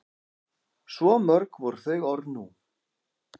Svo mörg voru þau orð nú.